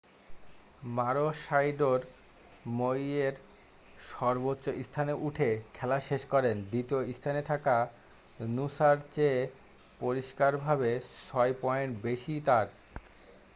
মারোশাইডোর মইয়ের সর্বোচ্চ স্থানে উঠে খেলা শেষ করেন দ্বিতীয় স্থানে থাকা নুসা'র চেয়ে পরিষ্কারভাবে ছয় পয়েন্ট বেশী তার